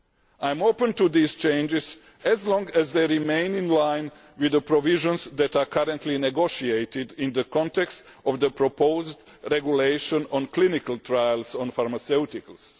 I am open to these changes, as long as they remain in line with the provisions that are currently being negotiated in the context of the proposed regulation on clinical trials on pharmaceuticals.